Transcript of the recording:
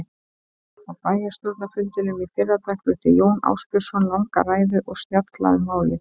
Á bæjarstjórnarfundinum í fyrradag flutti Jón Ásbjörnsson langa ræðu og snjalla um málið.